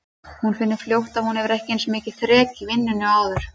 Hún finnur fljótt að hún hefur ekki eins mikið þrek í vinnunni og áður.